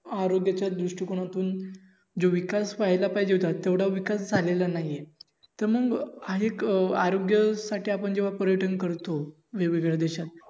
आरोग्यह्याच्या दृष्ठीकोनातून जो विकास व्हायला पाहिजे होता तेवढा विकास झालेला नाही तर मग हा एक आरोग्य साठी पर्यटन करतो वेगवेगळ्या देशात